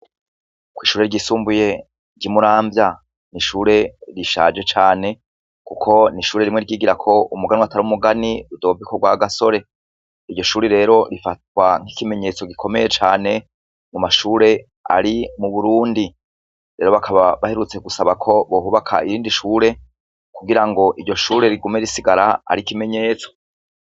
Kwishure ryisumbuye ryimuramvya nishure rishaje cane kuko ni ishure rimwe ryigiweko umuganwa atari umugani Rudoviko Rwagasore iryo shuri rero rifatwa nkikimenyetso gikomeye cane mumashure ari iburundi rero baheruka gusaba bahubake irindi shure kugirango iryo shure rigume risigara nkikimenyetso